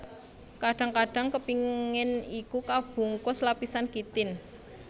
Kadang kadang kepingan iku kabungkus lapisan kitin